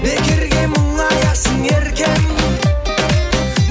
бекерге мұңаясың еркем